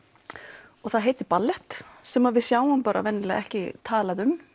og það heitir ballett sem við sjáum vanalega ekki talað um